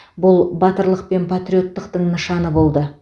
бұл батырлық пен патриоттықтың нышаны болды